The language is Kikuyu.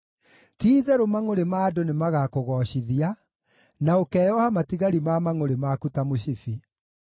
Ti-itherũ mangʼũrĩ ma andũ nĩmagakũgoocithia, na ũkeyoha matigari ma mangʼũrĩ maku ta mũcibi.